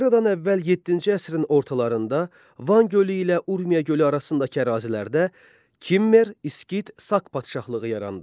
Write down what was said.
Eradan əvvəl yeddinci əsrin ortalarında Van gölü ilə Urmiya gölü arasındakı ərazilərdə Kimmer, İskit, Sak padşahlığı yarandı.